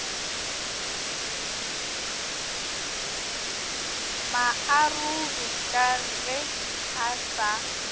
maarogi ka ge a sa